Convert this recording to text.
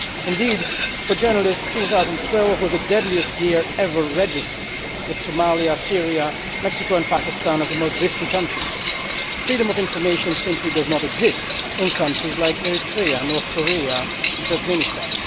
Indeed, for journalists, 2012 was the deadliest year ever registered, with Somalia, Syria, Mexico and Pakistan as the most risky countries. Freedom of information simply does not exist in countries like Eritrea, North Korea and Turkmenistan.